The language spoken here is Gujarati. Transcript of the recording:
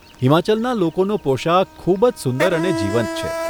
હિમાચલના લોકોનો પોશાક ખૂબ જ સુંદર અને જીવંત છે.